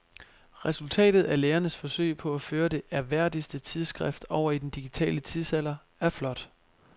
Resultatet af lægernes forsøg på at føre det ærværdige tidsskrift over i den digitale tidsalder er flot.